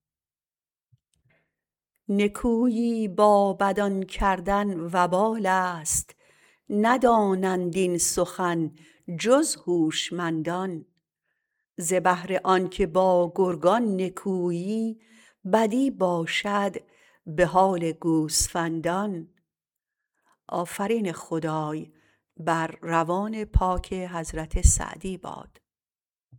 نکویی بابدان کردن وبالست ندانند این سخن جز هوشمندان ز بهر آنکه با گرگان نکویی بدی باشد به حال گوسفندان